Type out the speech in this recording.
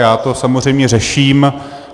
Já to samozřejmě řeším.